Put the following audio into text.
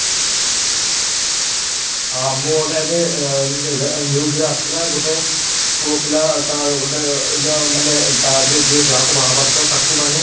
ହଁ ମୁଁ ଏବେ ଅ news ରେ ଆସୁଥିଲା ଗୋଟେ ପୁଅ ପିଲା ତା ଗୋଟେ ମାନେ ତା ଯିଏ ଯାହାକୁ ବାହା ହଵାରଥିଲା ତାକୁ ମାନେ